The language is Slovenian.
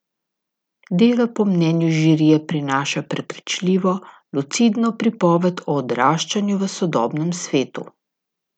Delo po mnenju žirije prinaša prepričljivo, lucidno pripoved o odraščanju v sodobnem svetu.